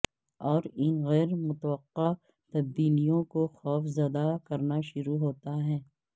اور ان غیر متوقع تبدیلیوں کو خوف زدہ کرنا شروع ہوتا ہے